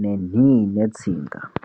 nenhii netsinga.